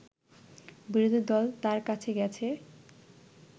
বিরোধীদল তার কাছে গেছে